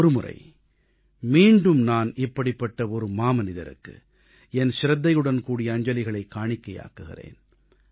ஒருமுறை மீண்டும் நான் இப்படிப்பட்ட ஒரு மாமனிதருக்கு என் சிரத்தையுடன் கூடிய அஞ்சலிகளைக் காணிக்கையாக்குகிறேன்